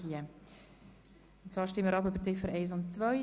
Über die beiden verbleibenden Ziffern 1 und 2.